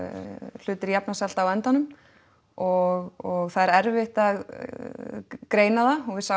hlutir jafna sig alltaf á endanum og það er erfitt að greina það og við sáum